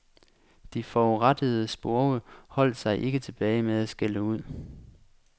De forurettede spurve holdt sig ikke tilbage med at skælde ud.